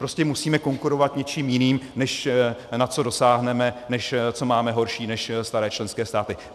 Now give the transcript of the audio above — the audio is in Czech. Prostě musíme konkurovat něčím jiným, než na co dosáhneme, než co máme horší než staré členské státy.